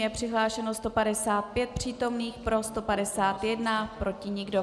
Je přihlášeno 155 přítomných, pro 151, proti nikdo.